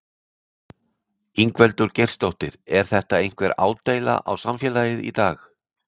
Ingveldur Geirsdóttir: Er þetta einhver ádeila á samfélagið í dag?